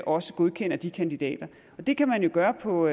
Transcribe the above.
også godkender de kandidater det kan man jo gøre på